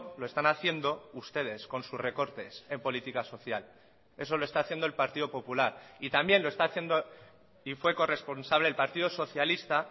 lo están haciendo ustedes con sus recortes en política social eso lo está haciendo el partido popular y también lo está haciendo y fue corresponsable el partido socialista